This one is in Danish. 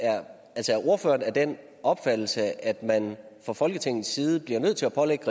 er ordføreren af den opfattelse at man fra folketingets side bliver nødt til at pålægge